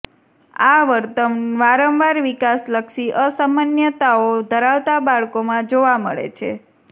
આ વર્તન વારંવાર વિકાસલક્ષી અસામાન્યતાઓ ધરાવતા બાળકોમાં જોવા મળે છે